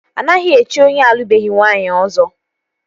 Anaghị echi onye alụbeghi nwaanyị Ọzọ